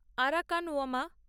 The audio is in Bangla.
আরাকানওমা